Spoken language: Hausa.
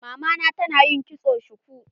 Mamana ta na yin kitson shuku.